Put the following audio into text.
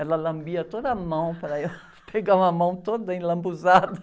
Ela lambia toda a mão para eu pegar uma mão toda enlambuzada.